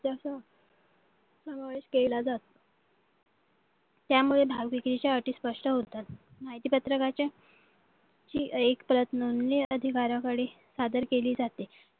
केला जातो त्यामुळे भाव विक्रीच्या अटी स्पष्ट होतात माहिती पत्रकाच्या एक प्रत नोंदणी अधिकाऱ्याकडे सादर केली जाते